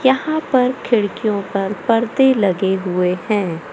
यहां पर खिड़कियों पर पर्दे लगे हुए हैं।